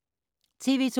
TV 2